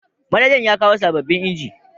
Manajan yakawo sababbin inji